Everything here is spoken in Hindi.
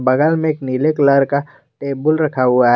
बगल में एक निले कलर का टेबुल रखा हुआ है।